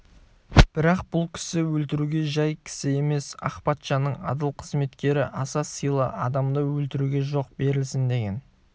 бірақ бұл кісі өлтіруге жай кісі емес ақ патшаның адал қызметкері аса сыйлы адамды өлтіруге жол берілсін деген